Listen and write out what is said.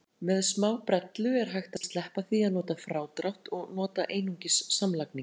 Með smábrellu er hægt að sleppa því að nota frádrátt og nota einungis samlagningu.